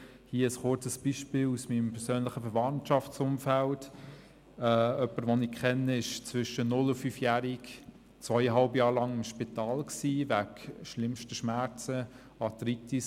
Hier ein kurzes Beispiel aus meinem persönlichen Verwandtschaftsumfeld: Jemand, den ich kenne, war im Alter zwischen 0- und 5jährig wegen schlimmsten Schmerzen während zweieinhalb Jahren im Spital: Arthritis.